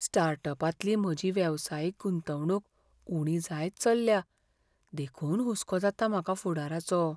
स्टार्टअपांतली म्हजी वेवसायीक गुंतवणूक उणी जायत चल्ल्या, देखून हुस्को जाता म्हाका फुडाराचो.